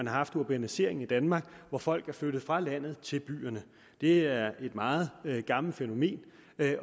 har haft urbaniseringen i danmark hvor folk er flyttet fra landet til byerne det er et meget gammelt fænomen